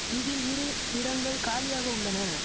இதில் இரு இடங்கள் காலியாக உள்ளன